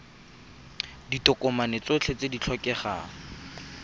ditokomane tsotlhe tse di tlhokegang